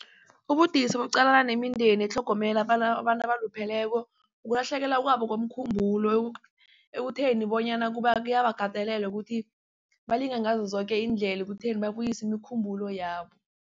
Ubudisi bokuqalana nemindeni etlhogomela abantu abalupheleko ukulahlekelwa kwabo komkhumbulo ekutheni bonyana kuyabakatelela ukuthi balinge ngazo zoke iindlela ekutheni babuyise imikhumbulo yabo.